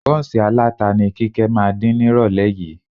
Bọ́ǹsì aláta ni Kíkẹ́ máa dín nírọ̀lẹ́ yìí